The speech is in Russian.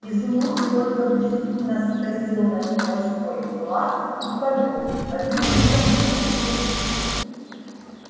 изумруд только презрительно скосил на него свой глаз и повёл одним ухом в его сторону